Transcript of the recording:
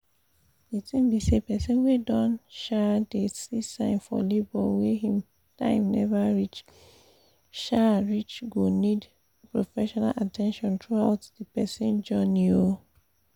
the tin be say persin wey don um dey see sign for labor wey him time never um reach go need professional at ten tion throughout the persin journey um